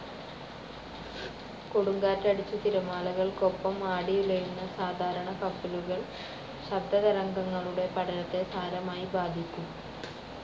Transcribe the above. കൊടുങ്കാറ്റടിച്ച് തിരമാലകൾക്കൊപ്പം ആടി ഉലയുന്ന സാധാരണ കപ്പലുകൾ ശബ്ദതരംഗങ്ങളുടെ പഠനത്തെ സാരമായി ബാധിക്കും.